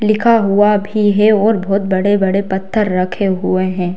लिखा हुआ भी है और बहुत बड़े-बड़े पत्थर रखे हुए हैं।